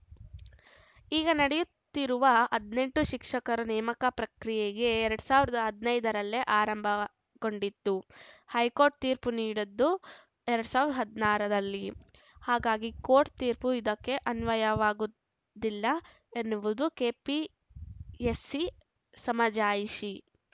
ಈಗ ನಡೆಯುತ್ತಿರುವ ಹದಿನೆಂಟು ಶಿಕ್ಷಕರ ನೇಮಕ ಪ್ರಕ್ರಿಯೆ ಎರಡ್ ಸಾವಿರದ ಹದನೈದರಲ್ಲೇ ಆರಂಭಗೊಂಡಿತ್ತು ಹೈಕೋರ್ಟ್‌ ತೀರ್ಪು ನೀಡದ್ದು ಎರಡ್ ಸಾವಿರದ ಹದನಾರರಲ್ಲಿ ಹಾಗಾಗಿ ಕೋರ್ಟ್‌ ತೀರ್ಪು ಇದಕ್ಕೆ ಅನ್ವಯವಾಗುವುದಿಲ್ಲ ಎನ್ನುವುದು ಕೆಪಿಎಸ್‌ಸಿ ಸಮಜಾಯಿಷಿ